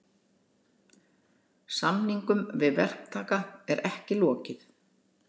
Samningum við verktaka er ekki lokið